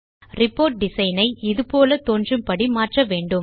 report design ஐ இது போல தோன்றும் படி மாற்ற வேண்டும்